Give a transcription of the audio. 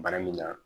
Bana min na